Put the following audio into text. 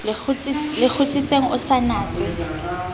le kgutsitseng o sa natse